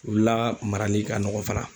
U la marali ka nɔgɔ fana.